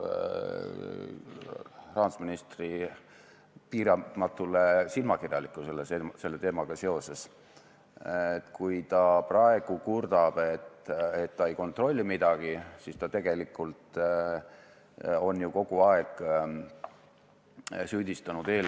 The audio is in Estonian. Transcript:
Seni, kuni rahandusministril ei ole paremat regulatsiooni, mis annaks pankadele garantii, et nad ei saa karistada selle eest, et nende käed jäävad lühikeseks, ei ole tal ka õigust panku süüdistada.